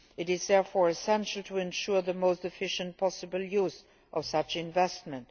It is therefore essential to ensure the most efficient possible use of such investment.